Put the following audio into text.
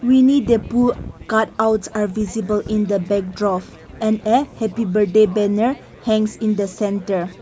we need the card out our visible in the backdrop and a happy birthday banner hangs in the centre.